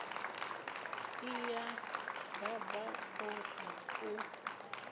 iya baba o ri u